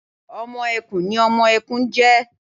ọmọ ẹkùn ni ọmọ ẹkùn n jẹ